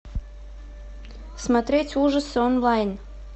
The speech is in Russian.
смотреть ужасы онлайн